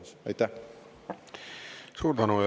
Suur tänu!